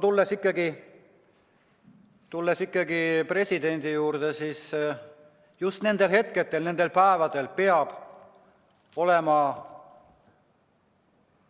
Tulles ikkagi presidendi juurde, siis just nendel hetkedel, nendel päevadel peab olema